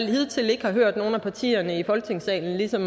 hidtil hørt nogen af partierne i folketingssalen ligesom